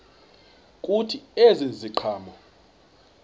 kuthi ezi ziqhamo